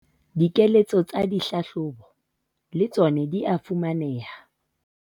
Dikeletso tsa dihlahlobo le tsona di a fumaneha